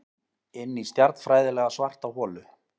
Inní stjarnfræðilega svarta holu.